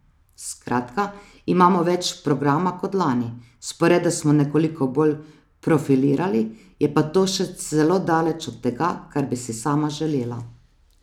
Skratka, imamo več programa kot lani, sporede smo nekoliko bolj profilirali, je pa to še zelo daleč od tega, kar bi si sama želela.